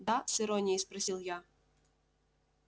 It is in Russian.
да с иронией спросил я